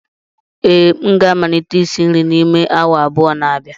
ee, m ga-amalite isi nri n'ime awa abụọ n'abịa